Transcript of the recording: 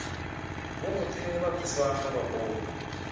vhoṱhe vha thuswa nga vhakoma